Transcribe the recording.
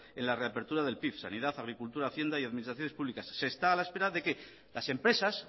en la reapertura del pif sanidad agricultura hacienda y administraciones públicas se está a la espera de que las empresas